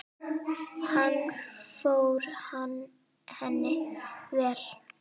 Hann fór henni vel.